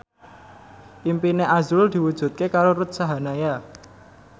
impine azrul diwujudke karo Ruth Sahanaya